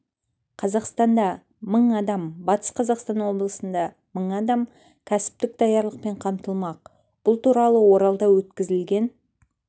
қазақстанда мың адам батыс қазақстан облысында мың адам кәсіптік даярлықпен қамтылмақ бұл туралы оралда өткізілген